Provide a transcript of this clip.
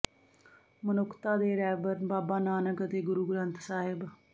ਮਨੁੱਖਤਾ ਦੇ ਰਹਬਰ ਬਾਬਾ ਨਾਨਕ ਅਤੇ ਗੁਰੂ ਗ੍ਰੰਥ ਸਾਹਿਬ